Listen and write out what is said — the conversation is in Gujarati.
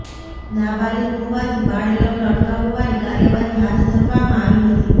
નાબાલીક હોવાથી બાળ લગ્ન અટકાવવાની કાર્યવાહી હાથ ધરવામાં આવી હતી